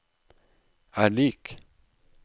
er lik